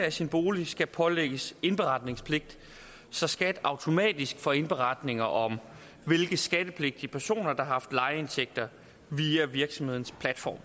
af sin bolig skal pålægges indberetningspligt så skat automatisk får indberetninger om hvilke skattepligtige personer der har haft lejeindtægter via virksomhedens platform